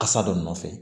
Kasa dɔ nɔfɛ